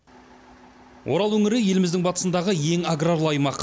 орал өңірі еліміздің батысындағы ең аграрлы аймақ